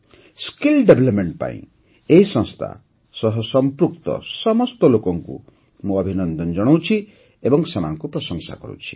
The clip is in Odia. ଦକ୍ଷତା ବିକାଶ ପାଇଁ ଏହି ସଂସ୍ଥା ସହ ସମ୍ପୃକ୍ତ ସମସ୍ତ ଲୋକଙ୍କୁ ମୁଁ ଅଭିନନ୍ଦନ ଜଣାଉଛି ଏବଂ ସେମାନଙ୍କୁ ପ୍ରଶଂସା କରୁଛି